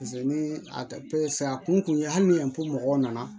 ni a a kun kun ye hali ni mɔgɔw nana